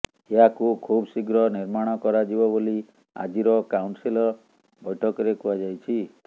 ଏହାକୁ ଖୁବ୍ ଶୀଘ୍ର ନିର୍ମାଣ କରାଯିବ ବୋଲି ଆଜିର କାଉନସିଲ୍ ବୈଠକରେ କୁହାଯାଇଛି